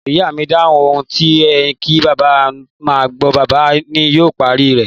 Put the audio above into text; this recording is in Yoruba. Ìyá mi dáhùn, 'Ohun ti e ni ki baba maa a gbo, baba ni yoo pari re'